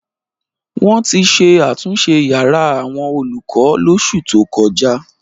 Wọ́n ti ṣe àtúnṣe yàrá àwọn olùkọ lóṣù tó kọjá.